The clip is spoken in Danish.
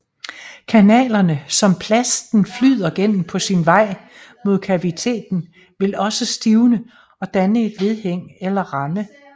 Kanalerne som plasten flyder gennem på sin vej mod kaviteten vil også stivne og danne et vedhæng eller ramme